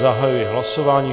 Zahajuji hlasování.